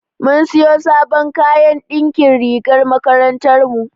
Mun siyo sabon kayan na ɗinkin rigar makarantar mu.